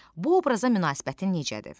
Bu obraza münasibətin necədir?